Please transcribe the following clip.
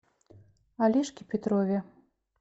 олежке петрове